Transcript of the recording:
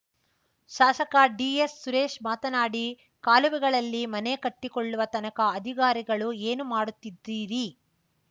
ಶಾಸಕ ಡಿಎಸ್‌ ಸುರೇಶ್‌ ಮಾತನಾಡಿ ಕಾಲುವೆಗಳಲ್ಲಿ ಮನೆ ಕಟ್ಟಿಕೊಳ್ಳುವ ತನಕ ಅಧಿಕಾರಿಗಳು ಏನು ಮಾಡುತ್ತಿದ್ದೀರಿ